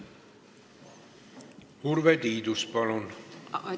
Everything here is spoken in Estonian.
Urve Tiidus, palun!